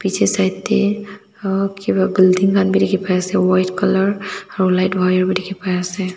side de aahhp building kan b dikhi pai ase white color aro light wire b dikhi pai ase.